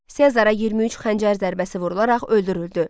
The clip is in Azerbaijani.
Sezara 23 xəncər zərbəsi vurularaq öldürüldü.